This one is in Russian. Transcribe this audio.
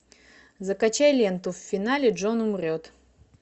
закачай ленту в финале джон умрет